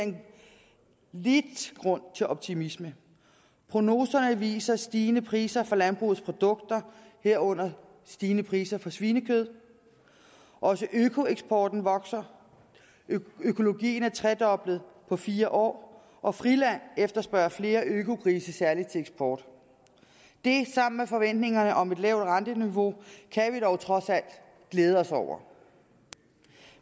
lidt grund til optimisme prognoserne viser stigende priser for landbrugsprodukter herunder stigende priser for svinekød også økoeksporten vokser økologien er tredoblet på fire år og friland efterspørger flere økogrise særlig til eksport det sammen med forventningerne om et lavt renteniveau kan vi dog trods alt glæde os over